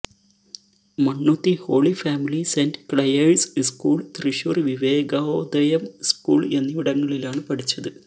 Mannuthy Holy Family Saint Clare's school Thrissur Vivekodayam school എന്നിവിടങ്ങളിലാണ് പഠിച്ചത്